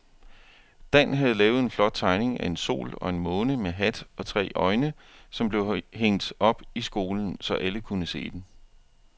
Dan havde lavet en flot tegning af en sol og en måne med hat og tre øjne, som blev hængt op i skolen, så alle kunne se den.